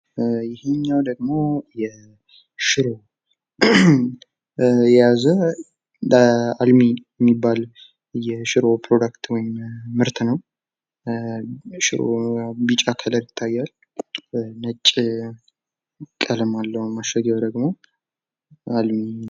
በቅድመ-ጥንቃቄ ተደርገው በመደርደሪያ ላይ ተደርድረው ለገበያ የቀረቡ የተለያዩ የምግብ ዕቃዎች።